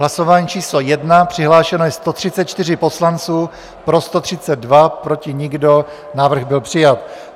Hlasování číslo 1, přihlášeno je 134 poslanců, pro 132, proti nikdo, návrh byl přijat.